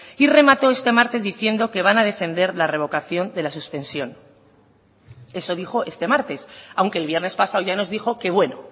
y remató este martes diciendo que van a defender la revocación de la suspensión eso dijo este martes aunque el viernes pasado ya nos dijo que bueno